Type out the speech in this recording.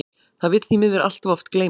Það vill því miður allt of oft gleymast.